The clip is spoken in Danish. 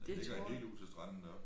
Den ligger helt ude til stranden deroppe